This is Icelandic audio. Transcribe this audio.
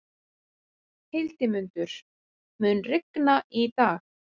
Hildimundur, mun rigna í dag?